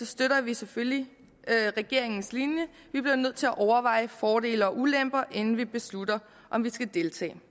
støtter vi selvfølgelig regeringens linje vi bliver nødt til at overveje fordele og ulemper inden vi beslutter om vi skal deltage